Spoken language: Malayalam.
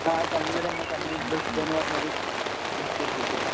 ആഹ് കണ്ണൂരന്നെ. കണ്ണൂര് വിഡ്‌കോന്ന് പറഞ്ഞൊരു ഇന്സ്ടിട്യൂട്ടില്.